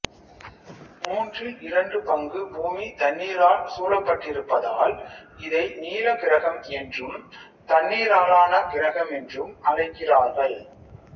மூன்றில் இரண்டு பங்கு பூமி தண்ணீரால் சூழப்பட்டிருப்பதால் இதை நீல கிரகம் என்றும் தண்ணீராலான கிரகமென்றும் அழைக்கிறார்கள்